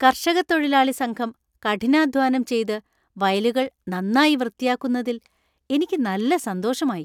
കർഷകത്തൊഴിലാളി സംഘം കഠിനാധ്വാനം ചെയത് വയലുകൾ നന്നായി വൃത്തിയാക്കുന്നത്തിൽ എനിക്ക് നല്ല സന്തോഷമായി.